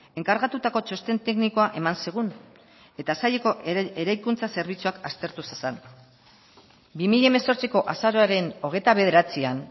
enkargatutako txosten teknikoa eman zigun eta saileko eraikuntza zerbitzuak aztertu zezan bi mila hemezortziko azaroaren hogeita bederatzian